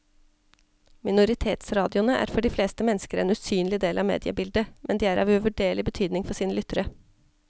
Minoritetsradioene er for de fleste mennesker en usynlig del av mediebildet, men de er av uvurderlig betydning for sine lyttere.